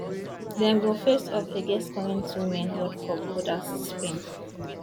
dem go face off against current women world cup holders spain